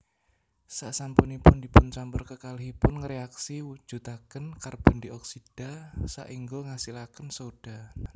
Sasampunipun dipuncampur kekalihipun ngréaksi mujudaken karbondioksida saéngga ngasilaken sodha